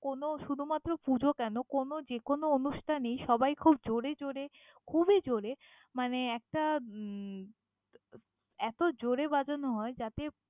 কোনো শুধুমাত্র পুজো কেন, কোনো যেকোনো অনুষ্ঠানেই সবাই খুব জোরে জোরে খুবই জোরে মানে একটা উম এতো জোরে বাজানো হয় যাতে।